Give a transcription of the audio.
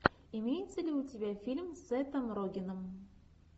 имеется ли у тебя фильм с сетом рогеном